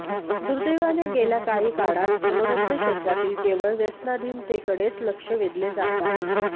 दुर्देवाने गेल्या काही काळात मनोरंजन क्षेत्रातील केवळ व्यसनाधीनतेकडेच लक्ष वेधले जात आहे